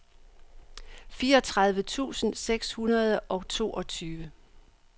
fireogtredive tusind seks hundrede og toogtyve